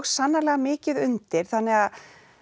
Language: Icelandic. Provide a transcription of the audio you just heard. sannarlega mikið undir þannig að